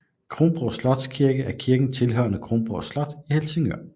Kronborg Slotskirke er kirken tilhørende Kronborg Slot i Helsingør